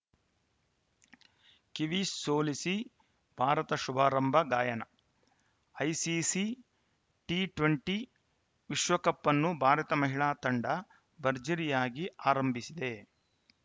Kiwis ಸೋಲಿಸಿ ಭಾರತ ಶುಭಾರಂಭ Guyana ICC T twenty ವಿಶ್ವಕಪ್‌ ಅನ್ನು ಭಾರತ ಮಹಿಳಾ ತಂಡ ಭರ್ಜರಿಯಾಗಿ ಆರಂಭಿಸಿದೆ